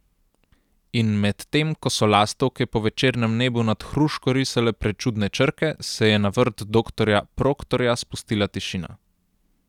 In medtem ko so lastovke po večernem nebu nad hruško risale prečudne črke, se je na vrt doktorja Proktorja spustila tišina.